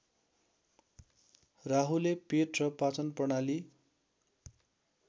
राहुले पेट र पाचनप्रणाली